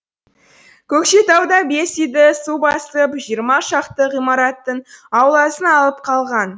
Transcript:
көкшетауда бес үйді су басып жиырма шақты ғимараттың ауласын алып қалған